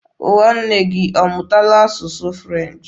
Nwanne gị ọ mụtaala asụsụ French?